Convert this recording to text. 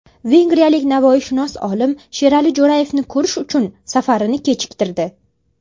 Vengriyalik navoiyshunos olim Sherali Jo‘rayevni ko‘rish uchun safarini kechiktirdi.